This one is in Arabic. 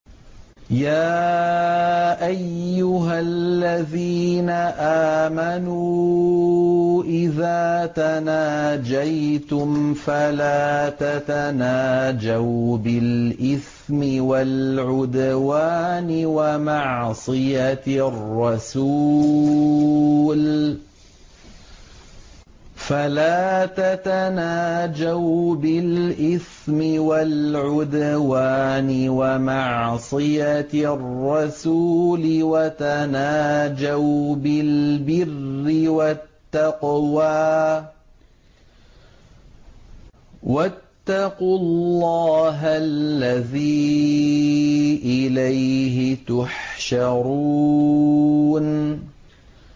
يَا أَيُّهَا الَّذِينَ آمَنُوا إِذَا تَنَاجَيْتُمْ فَلَا تَتَنَاجَوْا بِالْإِثْمِ وَالْعُدْوَانِ وَمَعْصِيَتِ الرَّسُولِ وَتَنَاجَوْا بِالْبِرِّ وَالتَّقْوَىٰ ۖ وَاتَّقُوا اللَّهَ الَّذِي إِلَيْهِ تُحْشَرُونَ